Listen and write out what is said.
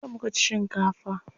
Jiya muka ci shinkafa.